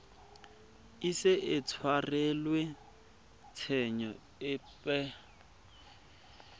ise a tshwarelwe tshenyo epe